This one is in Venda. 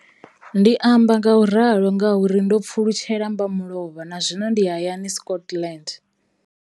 Ndi amba ngauralo nga uri ndo pfulutshela mmba mulovha na zwino ndi hayani, Scotland.